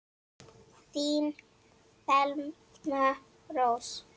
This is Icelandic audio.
Þín Thelma Rós.